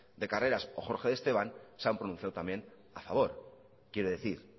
de carreras o jorge de esteban se han pronunciado también a favor quiero decir